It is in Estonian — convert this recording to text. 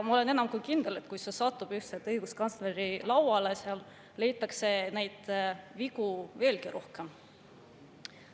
Ma olen enam kui kindel, et kui see satub ükskord õiguskantsleri lauale, siis sealt leitakse neid vigu veelgi rohkem.